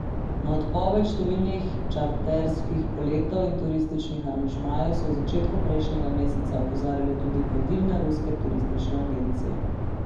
Na odpoved številnih čarterskih poletov in turističnih aranžmajev so v začetku prejšnjega meseca opozarjale tudi vodilne ruske turistične agencije.